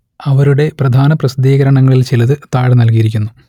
അവരുടെ പ്രധാന പ്രസിദ്ധീകരണങ്ങളിൽ ചിലത് താഴെ നൽകിയിരിക്കുന്നു